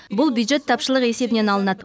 бұл бюджет тапшылығы есебінен алынады